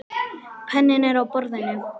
Penninn er á borðinu.